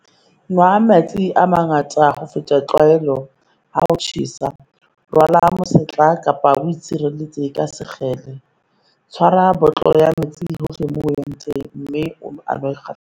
Nwa metsi a mangata ho feta tlwaelo, ha ho tjhesa. Rwala mosetla kapa o itshireletse ka sekgele. Tshwara botlolo ya metsi hohle moo o yang teng mme o a nwe kgafetsa.